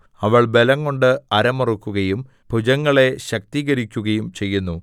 അവൾ ബലംകൊണ്ട് അരമുറുക്കുകയും ഭുജങ്ങളെ ശക്തീകരിക്കുകയും ചെയ്യുന്നു